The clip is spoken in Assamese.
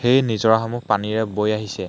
এই নিজৰাসমূহ পানীৰে বৈ আহিছে।